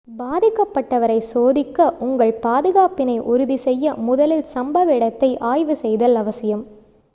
பாதிக்கப்பட்டவரை சோதிக்க உங்கள் பாதுகாப்பினை உறுதி செய்ய முதலில் சம்பவ இடத்தை ஆய்வு செய்தல் அவசியம்